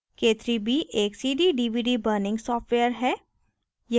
k3b एक cd/dvd burning software है